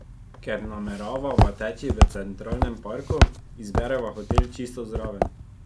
Ker nameravava teči v Centralnem parku, izbereva hotel čisto zraven.